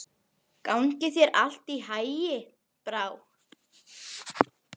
Gangi þér allt í haginn, Brá.